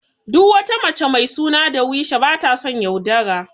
Duk wata mace mai suna Darweesha bata son yaudara.